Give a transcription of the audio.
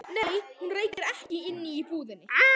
Nei, hún reykir ekki inni í búðinni.